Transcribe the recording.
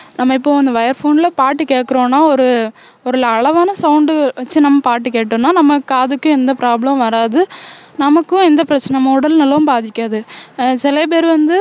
நம்ம இப்போ இந்த wire phone ல பாட்டு கேட்கறோம்ன்னா ஒரு ஒரு அளவான sound வச்சு நம்ம பாட்டு கேட்டோம்ன்னா நம்ம காதுக்கு எந்த problem மும் வராது நமக்கும் எந்த பிரச்சனை நம்ம உடல் நலமும் பாதிக்காது சில பேர் வந்து